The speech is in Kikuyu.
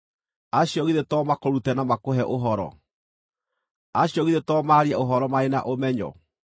Acio githĩ to makũrute na makũhe ũhoro? Acio githĩ to maarie ũhoro marĩ na ũmenyo?